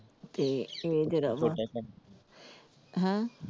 ਤੇ ਇਹ ਜਿਹੜਾ ਹੈਂ?